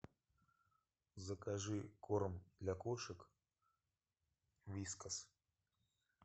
закажи корм для кошек вискас